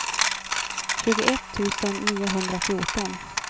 tjugoett tusen niohundrafjorton